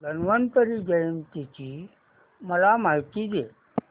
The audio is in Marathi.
धन्वंतरी जयंती ची मला माहिती दे